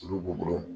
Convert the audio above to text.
Olu b'u bolo